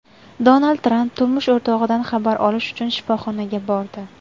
Donald Tramp turmush o‘rtog‘idan xabar olish uchun shifoxonaga bordi.